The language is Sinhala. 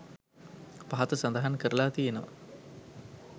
පහත සඳහන් කරලා තියෙනවා.